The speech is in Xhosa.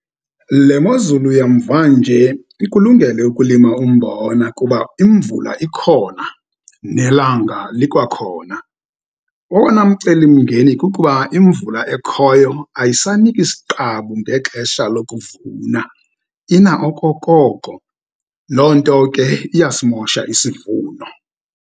Le mozulu yamvanje ikulungele ukulima umbona, kuba imvula ikhona nelanga likwakhona. Owona mcelimngeni kukuba imvula ekhoyo, ayisaniki siqabu ngexesha lokuvuna, ina okokoko. Loo nto ke iyasimosha isivuno.